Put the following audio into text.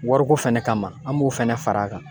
Wariko fɛnɛ kama an b'o fɛnɛ fara a kan.